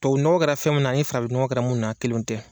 Tubabu nɔgɔ kɛra fɛn min na ani farafin nɔgɔ kɛra fɛn minnu na kelen tɛ!